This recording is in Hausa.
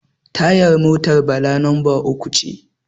tayar motar Bala lambar uku ce